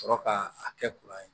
Sɔrɔ ka a kɛ kuran ye